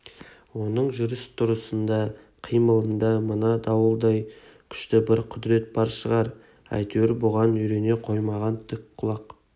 оның жүріс-тұрысында қимылында мына дауылдай күшті бір құдірет бар шығар әйтеуір бұған үйрене қоймаған тік құлақ